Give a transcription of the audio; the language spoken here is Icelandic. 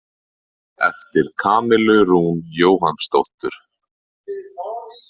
Eftir Kamillu Rún Jóhannsdóttur.